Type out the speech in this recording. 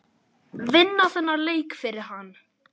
Vinna þennan leik fyrir hann!